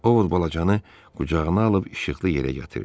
Ovod balacanı qucağına alıb işıqlı yerə gətirdi.